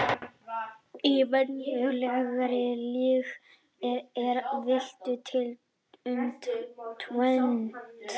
Í venjulegri lygi er villt til um tvennt.